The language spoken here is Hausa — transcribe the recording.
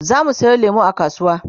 zamu Sayo lemu a kasuwa